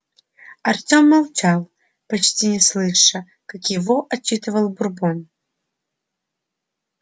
артём молчал почти не слыша как его отчитывал бурбон